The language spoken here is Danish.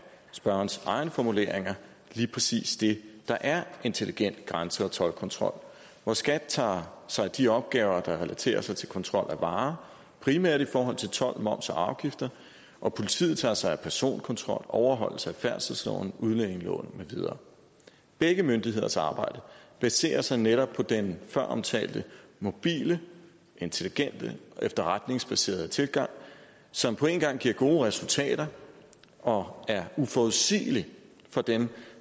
spørgerens egne formuleringer lige præcis det der er intelligent grænse og toldkontrol hvor skat tager sig af de opgaver der relaterer sig til kontrol af varer primært i forhold til told moms og afgifter og politiet tager sig af personkontrol overholdelse af færdselsloven udlændingeloven med videre begge myndigheders samarbejde baserer sig netop på den føromtalte mobile intelligente efterretningsbaserede tilgang som på en gang giver gode resultater og er uforudsigelig for dem